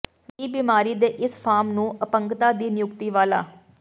ਦੀ ਬਿਮਾਰੀ ਦੇ ਇਸ ਫਾਰਮ ਨੂੰ ਅਪੰਗਤਾ ਦੀ ਨਿਯੁਕਤੀ ਵਾਲਾ